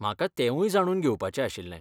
म्हाका तेंवूय जाणून घेवपाचें आशिल्लें.